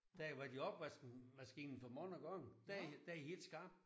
Da har været i opvaskemaskinen for mange gange der der er de helt skarpe